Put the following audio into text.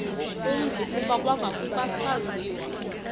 umzi kuba kwakungasaziwa